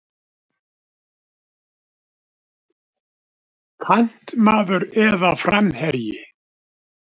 Kantmaður eða framherji?